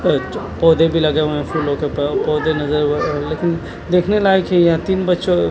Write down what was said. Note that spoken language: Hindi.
एक जो पोधे भी लगे हुए हे फूलो के प-पोधे नज़र हुए हैं लेकिन देखने लायक ये यतीम बच्चे --